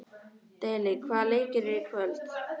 Daley, hvaða leikir eru í kvöld?